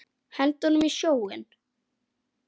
Henda honum í sjóinn!